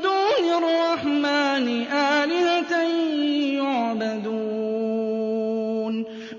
دُونِ الرَّحْمَٰنِ آلِهَةً يُعْبَدُونَ